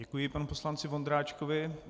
Děkuji panu poslanci Vondráčkovi.